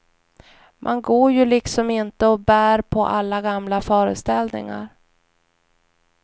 Man går ju liksom inte och bär på alla gamla föreställningar.